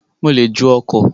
Mo le ju ọkọ̀